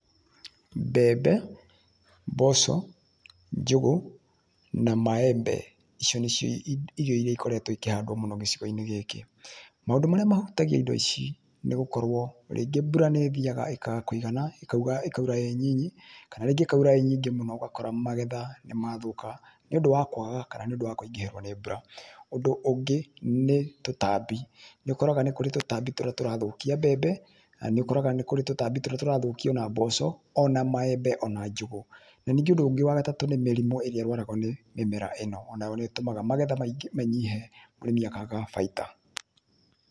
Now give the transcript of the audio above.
Mbembe, mboco, njũgũ na maembe, icio nĩcio irio iria ikoretwo ikĩhandwo mũno gĩcigo-inĩ gĩkĩ. Maundũ marĩa mahutagia indo ici nĩ gũkorũo rĩngĩ mbura nĩ ĩthiaga ĩkaaga kũigana, ĩkaura ĩ nini, kana rĩngĩ ĩkaura ĩ nyingĩ mũno ũgakora magetha nĩ mathũka nĩ ũndũ wa kwaga kana nĩ ũndũ wa kũingĩhĩrwo nĩ mbura. Ũndũ ũngĩ, nĩ tũtambi. Nĩ ũkoraga nĩ kũrĩ tũtambi tũrĩa tũrathũkia mbembe, na nĩ ũkoraga nĩ kũrĩ tũtambi tũrĩa tũrathũkia o na mboco,o na maembe,o na njũgũ. Na ningĩ ũndũ ũngĩ wa gatatũ nĩ mĩrimũ ĩrĩa ĩrwaragwa nĩ mĩmera ĩno.O nayo nĩ ĩtũmaga magetha manyihe mũrĩmi akaaga baita.